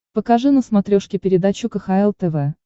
покажи на смотрешке передачу кхл тв